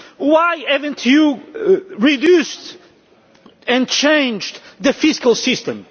Why have you not reduced and changed the fiscal system?